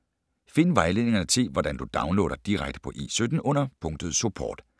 Find vejledningerne til, hvordan du downloader direkte på E17 under punktet Support.